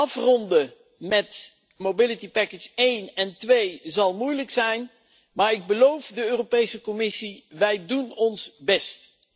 Afronden met mobiliteitspakket 1 en 2 zal moeilijk zijn, maar ik beloof de Europese Commissie wij doen ons best.